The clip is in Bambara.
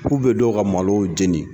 K'u bɛ dɔw ka malow jeni